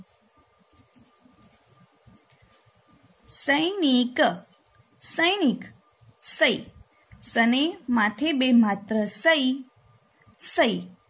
સૈનિક સૈનિક સૈ સને માથે બે માત્ર સૈ સૈ